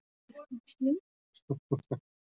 Myndin sýnir uppbyggingu fullþroska nýra.